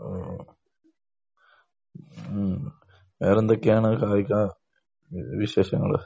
ഓഹ്. മ്മ്. വേറെ എന്തൊക്കെയാണ് കായിക വിശേഷങ്ങൾ?